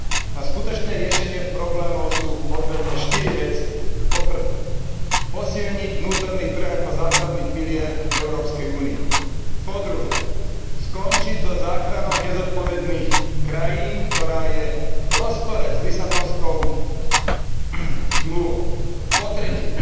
Na skutočné riešenie problémov sú potrebné štyri veci po prvé, posilniť vnútorný trh ako základný pilier Európskej únie, po druhé, skončiť so záchranou nezodpovedných krajín, ktorá je v rozpore s Lisabonskou zmluvou, po tretie,